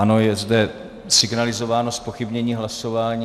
Ano, je zde signalizováno zpochybnění hlasování.